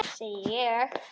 Segi ég.